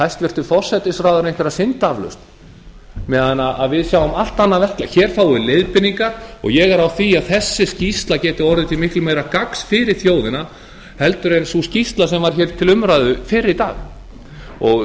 hæstvirtur forsætisráðherra einhverja syndaaflausn meðan við sjáum allt annað verklag hér fáum við leiðbeiningar og ég er á því að þessi skýrsla geti orðið til miklu meira gagns fyrir þjóðina heldur en sú skýrsla sem var til umræðu fyrr í dag